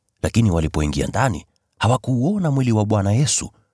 lakini walipoingia ndani, hawakuuona mwili wa Bwana Yesu.